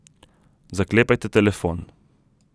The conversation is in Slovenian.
Zaklepajte telefon.